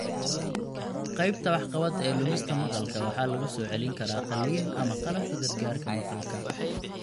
Qaybta wax qabad ee lumista maqalka waxaa lagu soo celin karaa qalliin ama qalabka gargaarka maqalka.